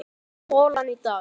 Tólfta holan í dag